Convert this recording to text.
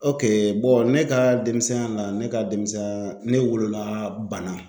ne ka denmisɛnya la , ne ka denmisɛnya ne wolola banna.